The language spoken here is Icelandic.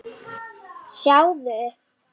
Sjáðu